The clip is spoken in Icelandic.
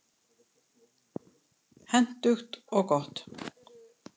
Hentugt og gott.